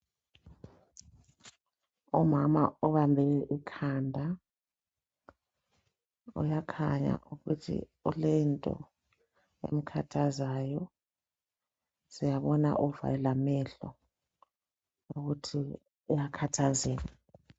Umama obambe ikhanda, uyakhanya ukuthi kulento emkhathazayo. Siyambona uvale lamehlo ukuthi uyakhathazeka.